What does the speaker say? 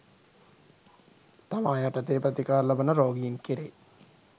තමා යටතේ ප්‍රතිකාර ලබන රෝගීන් කෙරේ